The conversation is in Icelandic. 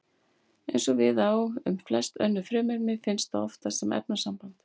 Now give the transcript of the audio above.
Eins og við á um flest önnur frumefni finnst það oftast sem efnasamband.